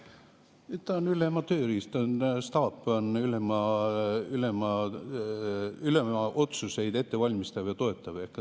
Ta on ülema tööriist, staap valmistab ette ülema otsuseid ja toetab.